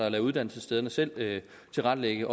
at lade uddannelsesstederne selv tilrettelægge